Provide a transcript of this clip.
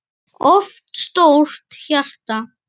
of stórt hjarta